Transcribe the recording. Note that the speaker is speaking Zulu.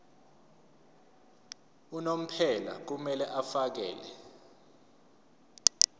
unomphela kumele afakele